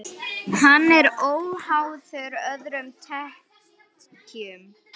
Hann er óháður öðrum tekjum.